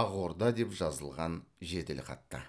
ақорда деп жазылған жеделхатта